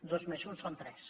dos més un són tres